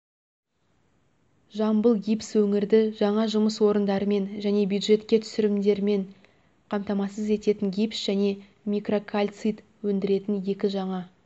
жамбыл гипс өңірді жаңа жұмыс орындарымен және бюджетке түсімдермен қамтамасыз ететін гипс және микрокальцит өндіретін екі жаңа